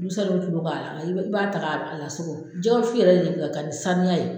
Musaluw tulo b'a la i be i b'a ta k'a a lasogo. Jɛgɛ wusu yɛrɛ de ka kan ni saniya ye.